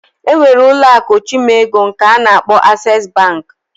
Enwere ụlọ aku ochimego nke ana akpo Access Bank.